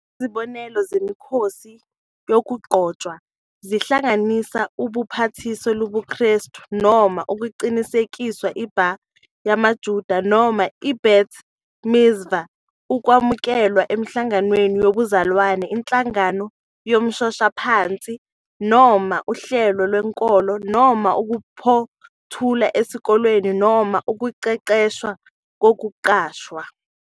Izibonelo zemikhosi yokugcotshwa zingahlanganisa ubhapathiso lobuKristu noma ukuqinisekiswa, i-bar yamaJuda noma i-bat mitzvah, ukwamukelwa enhlanganweni yobuzalwane, inhlangano yomshoshaphansi noma uhlelo lwenkolo, noma ukuphothula esikoleni noma ukuqeqeshwa kokuqashwa.